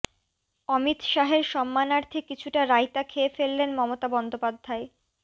অমিত শাহের সম্মানার্থে কিছুটা রায়তা খেয়ে ফেললেন মমতা বন্দ্যোপাধ্যায়